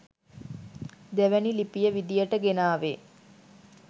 දෙවනි ලිපිය විදියට ගෙනාවේ